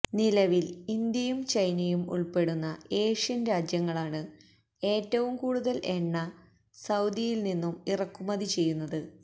നിലവില് ഇന്ത്യയും ചൈനയും ഉള്പ്പെടുന്ന ഏഷ്യന് രാജ്യങ്ങളാണ് ഏറ്റവും കൂടുതല് എണ്ണ സഊദിയില് നിന്നും ഇറക്കുമതി ചെയ്യുന്നത്